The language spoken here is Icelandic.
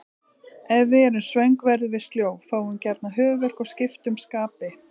Ef við erum svöng verðum við sljó, fáum gjarnan höfuðverk og skiptum skapi.